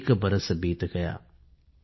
एक बरस बीत गया ।।